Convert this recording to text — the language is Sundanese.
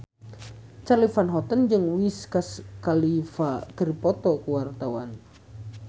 Charly Van Houten jeung Wiz Khalifa keur dipoto ku wartawan